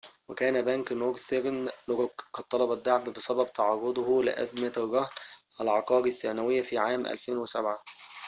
وكان بنك نورثرن روك قد طلب الدعم بسبب تعرضه لأزمة الرهن العقاري الثانوي في عام 2007